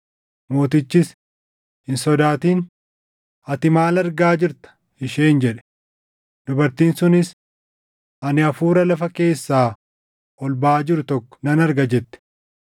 Mootichis, “Hin sodaatin. Ati maal argaa jirta?” isheen jedhe. Dubartiin sunis, “Ani hafuura lafa keessaa ol baʼaa jiru tokko nan arga” jette.